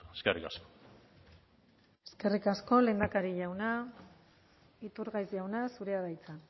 eskerrik asko eskerrik asko lehendakari jauna iturgaiz jauna zurea da hitza